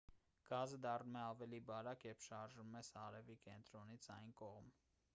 գազը դառնում է ավելի բարակ երբ շարժվում ես արևի կենտրոնից այն կողմ